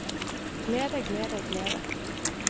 glede glede glede